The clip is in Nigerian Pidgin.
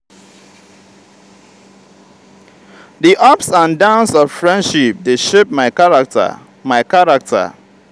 di ups and downs of friendship dey shape my character. my character.